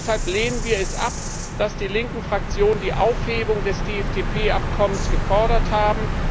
Deshalb lehnen wir es ab, dass die linken Fraktionen die Aufhebung des TFTP Abkommens gefordert haben.